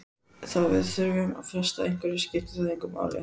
Þó við þurfum að fresta einhverju skiptir það engu máli.